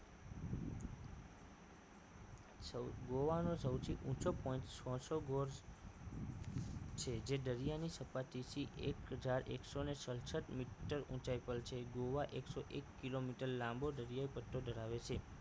સૌ ગોવાનો સૌથી ઊંચો point sorso gonds છે જે દરિયાની સપાટીથી એક હજાર એકસો ને સડસઠ મીટર ઊંચાઈ પર છે ગોવા એકસો એક કિલોમીટર લાંબો દરિયો પટ્ટો ધરાવે છે